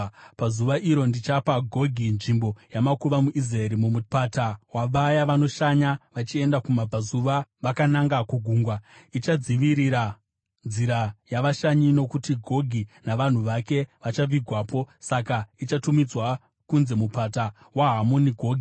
“ ‘Pazuva iro, ndichapa Gogi nzvimbo yamakuva muIsraeri, mumupata wavaya vanoshanya vachienda kumabvazuva vakananga kugungwa. Ichadzivirira nzira yavashanyi, nokuti Gogi navanhu vake vachavigwapo. Saka ichatumidzwa kunzi Mupata waHamoni Gogi.